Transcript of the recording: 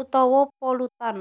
utawa polutan